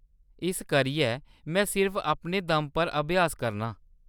इस करियै में सिर्फ अपने दम पर अभ्यास करनां ।